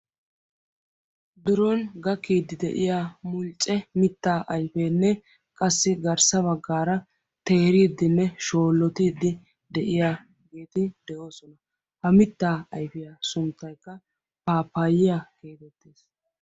biron gakkiidi de'iyaa mulcce mitta ayfenne qassi garssaa baggaara teeridinne shoolotiide de'iyaa mitta ayfeti de'oosona. ha mitta sunttaykka pappayiyya getettees.